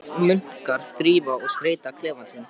Einstakir munkar þrífa og skreyta klefa sína.